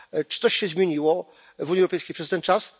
Czy coś się zmieniło w Unii Europejskiej przez ten czas?